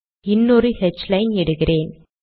இன்னொரு ஹ்லைன் இடுகிறேன்